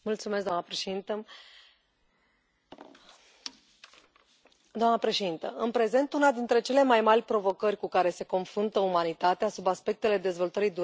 Doamnă președintă, în prezent, una dintre cele mai mari provocări cu care se confruntă umanitatea sub aspectele dezvoltării durabile, sănătății și economiei mondiale este procesul de încălzire globală.